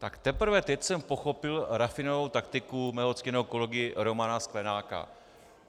Tak teprve teď jsem pochopil rafinovanou taktiku svého ctěného kolegy Romana Sklenáka.